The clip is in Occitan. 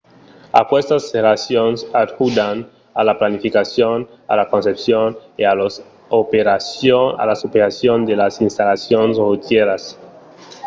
aquestas relacions ajudan a la planificacion a la concepcion e a las operacions de las installacions rotièras